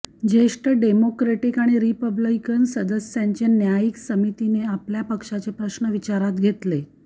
ज्येष्ठ डेमोक्रेटिक आणि रिपब्लिकन सदस्यांचे न्यायिक समितीने आपल्या पक्षाचे प्रश्न विचारात घेतले